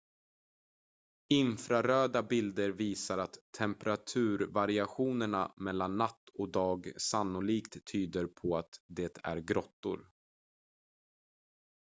infraröda bilder visar att temperaturvariationerna mellan natt och dag sannolikt tyder på att de är grottor